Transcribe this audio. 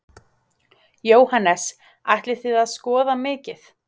Jóhannes: Ætlið þið að skoða mikið?